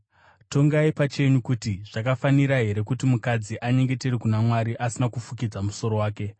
Tongai imi pachenyu kuti: Zvakafanira here kuti mukadzi anyengetere kuna Mwari asina kufukidza musoro wake?